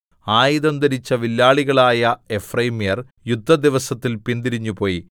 ആയുധം ധരിച്ച വില്ലാളികളായ എഫ്രയീമ്യർ യുദ്ധദിവസത്തിൽ പിന്തിരിഞ്ഞുപോയി